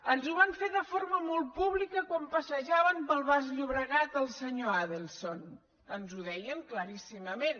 ens ho van fer de forma molt pública quan passejaven pel baix llobregat el senyor adelson ens ho deien claríssimament